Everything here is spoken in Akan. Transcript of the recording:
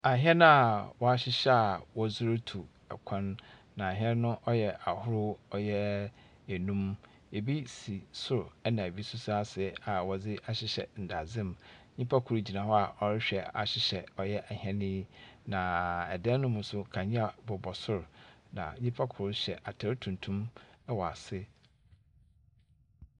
Ahɛn a wɔahyehyɛ a wɔdze rutuw kwan, na ahɛn no wɔyɛ ahorow ɔyɛ nnum. Ebi si sor na ebi nso si ase a wɔdze ahyehyɛ ndadze mu. Nyimpa kor gyina hɔ a ɔrehwɛ ahyehyɛ ɔyɛ hɛn yi, na dan no mu nso, kanea bobɔ sor, na nnipa kor hyɛ atar tuntum wɔ ase.